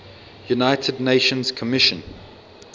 united nations commission